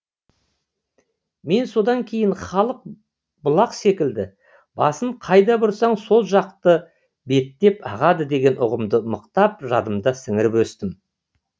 мен содан кейін халық бұлақ секілді басын қайда бұрсаң сол жақты беттеп ағады деген ұғымды мықтап жадымда сіңіріп өстім